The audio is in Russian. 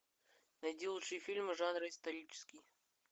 найди лучшие фильмы жанра исторические